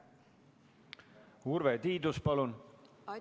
Urve Tiidus, palun!